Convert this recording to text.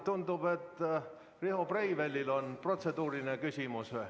Tundub, et Riho Breivelil on protseduuriline küsimus.